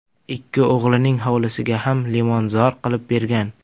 Ikki o‘g‘lining hovlisiga ham limonzor qilib bergan.